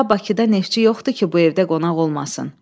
Ta Bakıda Neftçi yoxdur ki, bu evdə qonaq olmasın.